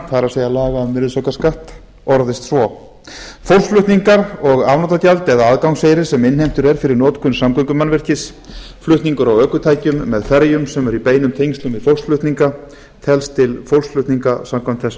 laga um virðisaukaskatt orðist svo fólksflutningar og afnotagjald eða inngangseyrir sem innheimtur er fyrir notkun samgöngumannvirkis flutningur á ökutækjum með ferjum sem eru í beinum tengslum við póstflutninga telst til póstflutninga telst til póstflutninga samkvæmt þessum